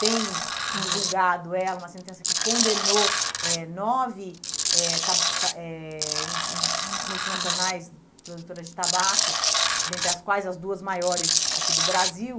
tem divulgado ela uma sentença que condenou eh nove eh eh enfim multinacionais produtoras de tabaco, dentre as quais as duas maiores aqui do Brasil.